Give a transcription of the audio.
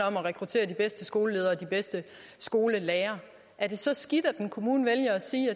om at rekruttere de bedste skoleledere og de bedste skolelærere er det så skidt at en kommune vælger at sige